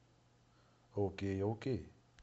окей окей